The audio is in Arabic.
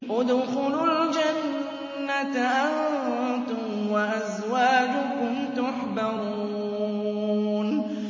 ادْخُلُوا الْجَنَّةَ أَنتُمْ وَأَزْوَاجُكُمْ تُحْبَرُونَ